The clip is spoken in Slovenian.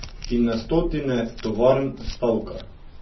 In na stotine tovarn stavka.